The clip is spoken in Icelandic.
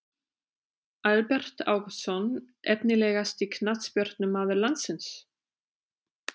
Albert Ágústsson Efnilegasti knattspyrnumaður landsins?